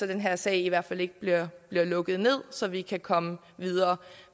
den her sag i hvert fald ikke bliver lukket ned så vi kan komme videre